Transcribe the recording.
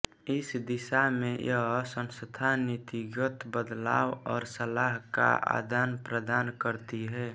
इस दिशा में यह संस्था नीतिगत बदलाव और सलाह का आदानप्रदान करती है